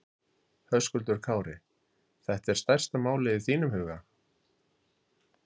Höskuldur Kári: Þetta er stærsta málið í þínum huga?